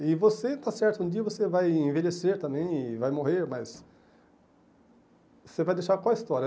E você, está certo, um dia você vai envelhecer também e vai morrer, mas... Você vai deixar qual a história?